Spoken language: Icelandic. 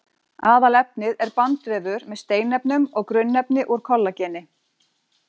Aðalefnið er bandvefur með steinefnum og grunnefni úr kollageni.